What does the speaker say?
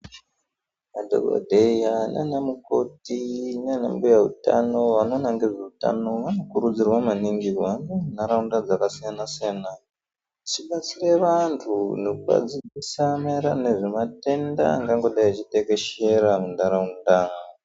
Madhongodheya nanamukoti nanambuya hutano vanoona ngezvehutano vanogurudzirwa maningi kuhamba munharaunda yakasiyana siyana vechibatsire antu nekuvadzidzisa marainarano nezvematenda anonga achitekeshera munharaunda .